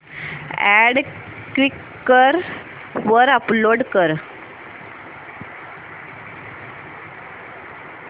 add Quikr वर upload कर